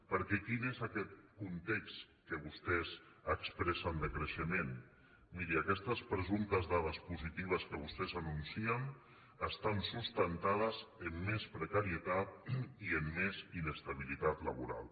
perquè quin és aquest context que vostès expressen de creixement miri aquestes presumptes dades positives que vostès anuncien estan sustentades en més precarie tat i en més inestabilitat laboral